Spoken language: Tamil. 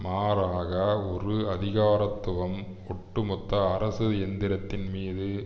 மாறாக ஒரு அதிகாரத்துவம் ஒட்டுமொத்த அரசு எந்திரத்தின் மீது